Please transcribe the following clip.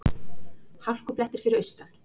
Hálkublettir fyrir austan